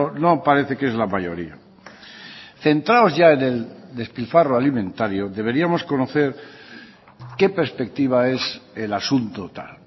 no parece que es la mayoría centrados ya en el despilfarro alimentario deberíamos conocer qué perspectiva es el asunto tal